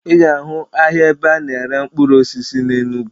Ị ga-ahụ ahịa ebe a na-ere mkpụrụ osisi na Enugu